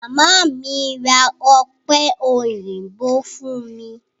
Màmá mi ra ọ̀pẹ òyìnbó fún mi.